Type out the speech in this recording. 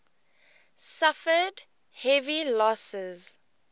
suffered heavy losses